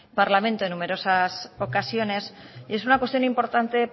parlamento en numerosas ocasiones y es una cuestión importante